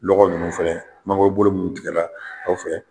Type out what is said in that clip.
Lɔgɔ ninnu fɛnɛ mangorobolo minnu tigɛla anw fɛ.